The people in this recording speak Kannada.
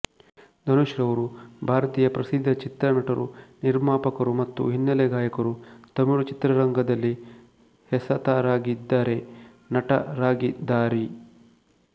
ಧನುಷ್ ರವರು ಭಾರತೀಯ ಪ್ರಸಿದ್ಧ ಚಿತ್ರ ನಟರು ನಿರ್ಮಾಪರುಮತ್ತು ಹಿನ್ನೆಲೆ ಗಾಯಕರು ತಮಿಳು ಚಿತ್ರರಂಗದಲ್ಲಿ ಹೆಸತರಾಗಿದರೆ ನಟರಾಗಿದಾರಿ